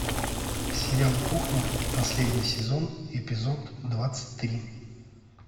сериал кухня последний сезон эпизод двадцать три